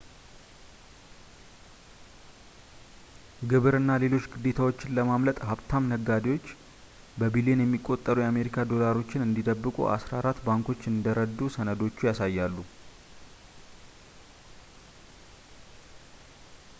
ግብር እና ሌሎች ግዴታዎችን ለማምለጥ ሀብታም ደንበኞች በቢሊየን የሚቆጠሩ የአሜሪካ ዶላሮችን እንዲደብቁ አስራ አራት ባንኮች እንደረዱ ሰነዶቹ ያሳያሉ